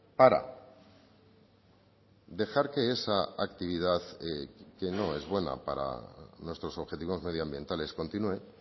para dejar que esa actividad que no es buena para nuestros objetivos medioambientales continúe